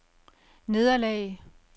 nederlag